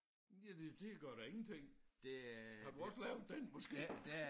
Ja det det gør da ingenting har du også lavet den måske?